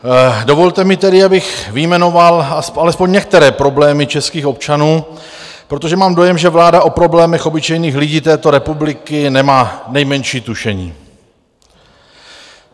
Dovolte mi tedy, abych vyjmenoval alespoň některé problémy českých občanů, protože mám dojem, že vláda o problémech obyčejných lidí této republiky nemá nejmenší tušení.